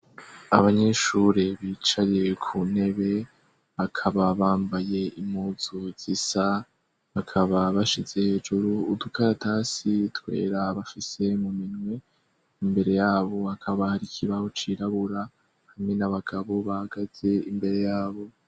Abanyeshuri bicaye ku ntebe, bakaba bambaye impuzu zisa, bakaba bashize hejuru udukaratasi twera bafise mu minwe, imbere yabo hakaba hari kibaho cirabura hamwe n'abagabo bahagaze imbere yabo.